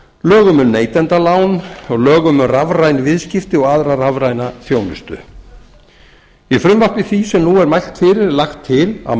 lögum um neytendalán og lögum um rafræn viðskipti og aðra rafræna þjónustu í frumvarpi því sem nú er mælt fyrir er lagt til að